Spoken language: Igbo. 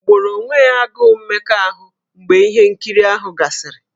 O gboro onwe ya agụụ mmekọahụ mgbe ihe nkiri ahụ gasịrị?